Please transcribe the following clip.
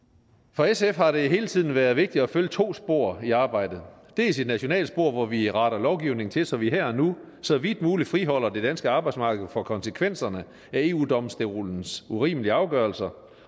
for sf har det hele tiden været vigtigt at følge to spor i arbejdet dels et nationalt spor hvor vi retter lovgivningen til så vi her og nu så vidt muligt friholder det danske arbejdsmarked for konsekvenserne af eu domstolens urimelige afgørelser